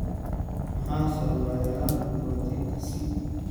Maxaa sababa yaraanta borotiinka C?